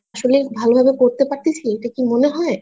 আসলেই ভালো ভাবে করতে পারতেছি এটা কি মনে হয়?